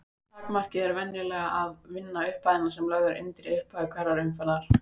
Takmarkið er venjulega að vinna upphæðina sem lögð er undir í upphafi hverrar umferðar.